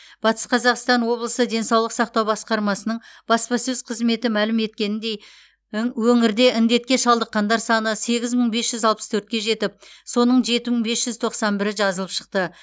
батыс қазақстан облысы денсаулық сақтау басқармасының баспасөз қызметі мәлім еткеніндей ің өңірде індетке шалдыққандар саны сегіз мың бес жүз алпыс төртке жетіп соның жеті мың бес жүз тоқсан бірі жазылып шықты